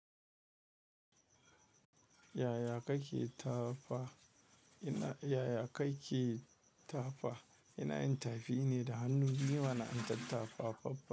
Yaya kake tafa? Ina yaya kake tafa? Ina yintafi ne da hannu biyuma na intat tafa.